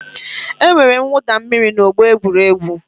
E nwere mwụda mmiri n'ọgbọ egwuregwu.